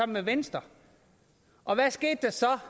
med venstre og hvad skete der så